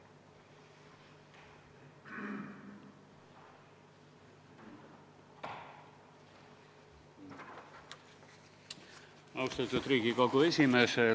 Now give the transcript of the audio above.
Austatud Riigikogu esimees!